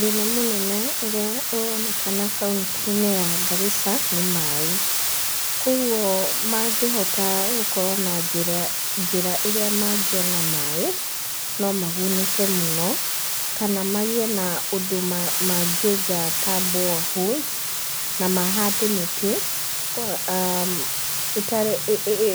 Thĩna mũnene ũrĩa ũronekana kaũntĩ ya Garissa nĩ maaĩ. Kwoguo mangĩhota gũkorwo na njĩra ĩrĩa mangĩona maaĩ, no magunĩke mũno, kana magĩe na ũndũ mangĩenja ta boreholes, na mahande mĩtĩ,